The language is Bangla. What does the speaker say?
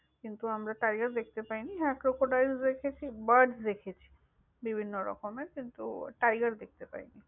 কিন্তু আমরা tiger দেখতে পাই নি। হ্যাঁ crocodile দেখেছি, birds দেখেছি, বিভিন্ন রকমের। কিন্তু tiger দেখতে পাইনি।